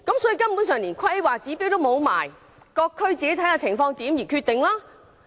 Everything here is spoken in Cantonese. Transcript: "換言之，連規劃標準也沒有，各區須自行視乎情況而定。